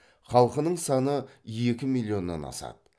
халқының саны екі миллионнан асады